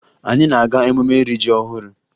Anyị na-aga emume iri ji ọhụrụ